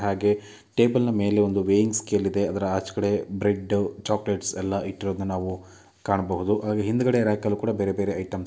ಹಾಗೆ ಟೇಬಲ್‌ ಮೇಲೆ ಒಂದು ವೈಯಿಂಗ್‌ ಸ್ಕೇಲ್‌ ಇದೆ. ಆಚೆ ಕಡೆ ಬ್ರೆಡ್‌ ಚಾಕಲೇಟ್‌ ಎಲ್ಲಾ ಇಟ್ಟಿರೋದನ್ನೆ ನಾವು ಕಾಣಬಹುದು ಹಾಗೆ ಹಿಂದುಗಡೆ ರಾಕ್‌ನಲ್ಲಿ ಬೇರೆ ಬೇರೆ ಐಟಂ --